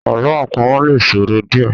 Àlọ́ àpamọ̀ lè sòro díẹ̀